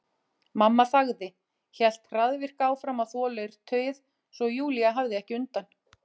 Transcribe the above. Mamma þagði, hélt hraðvirk áfram að þvo leirtauið svo Júlía hafði ekki undan.